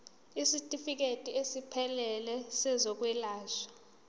isitifikedi esiphelele sezokwelashwa